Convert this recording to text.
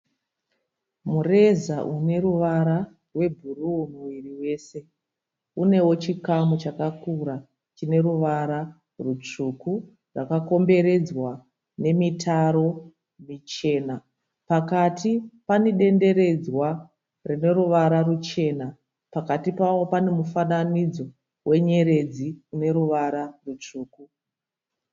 Mureza une ruvara rwebhuruu wese. Unewo chikamu chakakura chine ruvara rutsvuku rwakakomberedzwa nemitaro michena. Pakati pane denderedzwa rine ruvara ruchena. Pakati pawo pane mufananidzo we nyeredzi ine ruvara rutsvuku.